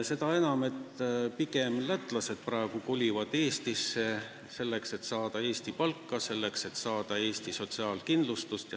Pigem kolivad lätlased praegu Eestisse, selleks et saada Eesti palka, selleks et saada Eesti sotsiaalkindlustust.